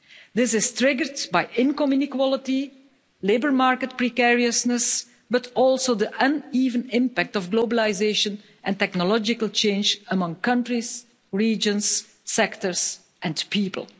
This is triggered by income inequality, labour market precariousness, but also the uneven impact of globalisation and technological change among countries, regions, sectors and people.